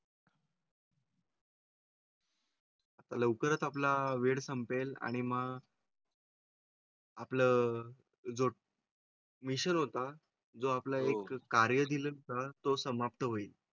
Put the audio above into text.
लवकरच आपला वेळ संपेल आणि मग. आपलं. जो. मिशन होता जो आपला एक कार्य दिलं तर तो समाप्त होईल.